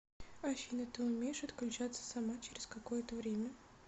афина ты умеешь отключаться сама через какое то время